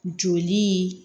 Joli